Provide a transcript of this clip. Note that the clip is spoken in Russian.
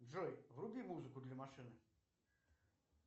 джой вруби музыку для машины